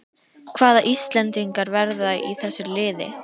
Hvaða íslendingar verða í þessu liði?